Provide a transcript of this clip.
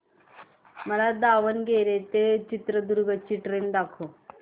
मला दावणगेरे ते चित्रदुर्ग ची ट्रेन दाखव